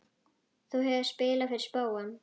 Þú hefur spilað fyrir spóann?